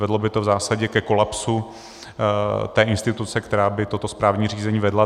Vedlo by to v zásadě ke kolapsu té instituce, která by toto správní řízení vedla.